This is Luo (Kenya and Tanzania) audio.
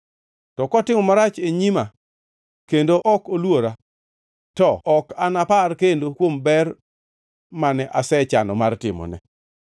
to kotimo tim marach e nyima kendo ok oluora, to anapar kendo kuom ber mane asechano mar timone.